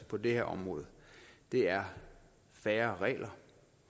på det her område er færre regler